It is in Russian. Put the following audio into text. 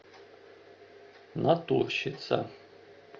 натурщица